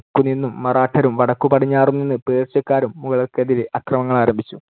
തെക്കുനിന്നും മറാഠരും, വടക്കുപടിഞ്ഞാറു നിന്ന് പേർഷ്യക്കാരും മുഗളർക്കെതിരെ ആക്രമണങ്ങളാരംഭിച്ചു.